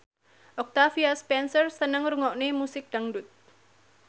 Octavia Spencer seneng ngrungokne musik dangdut